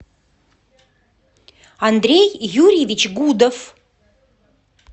андрей юрьевич гудов